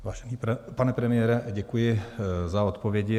Vážený pane premiére, děkuji za odpovědi.